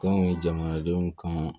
Kan ye jamanadenw kan